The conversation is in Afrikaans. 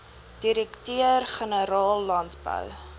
direkteur generaal landbou